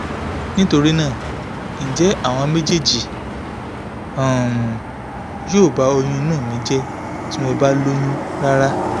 nitorinaa nje awọn mejeeji um yo ba oyun inu mi je ti mo ba loyun rara?